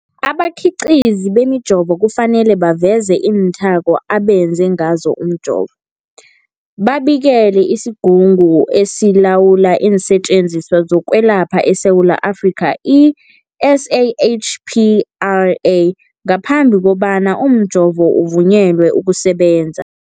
Abakhiqizi bemijovo kufanele baveze iinthako abenze ngazo umjovo, babikele isiGungu esiLawula iinSetjenziswa zokweLapha eSewula Afrika, i-SAHPRA, ngaphambi kobana umjovo uvunyelwe ukusebenza.